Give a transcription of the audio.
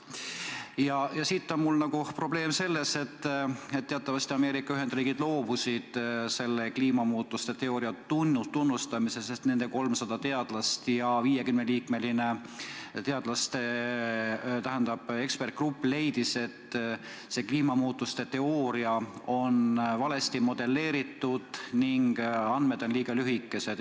Sellega seoses on mul probleem, et teatavasti loobusid Ameerika Ühendriigid kliimamuutuste teooria tunnustamisest, sest nende 300 teadlast ja 50-liikmeline eksperdigrupp leidsid, et see teooria on valesti modelleeritud ning andmed on liiga lühikese aja kohta.